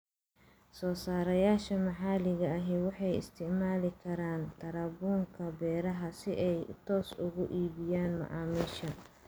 Soosaarayaasha maxaliga ahi waxay isticmaali karaan tarabuunka beeraha si ay toos uga iibiyaan macaamiisha.